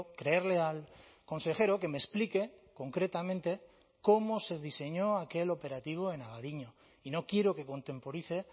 creerle al consejero que me explique concretamente cómo se diseñó aquel operativo en abadiño y no quiero que contemporice